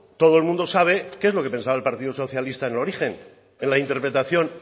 todo el mundo sabe que es lo que pensaba el partido socialista en origen en la interpretación